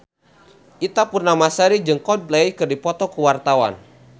Ita Purnamasari jeung Coldplay keur dipoto ku wartawan